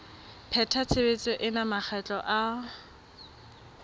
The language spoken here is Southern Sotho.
pheta tshebetso ena makgetlo a